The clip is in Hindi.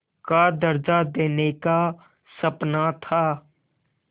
का दर्ज़ा देने का सपना था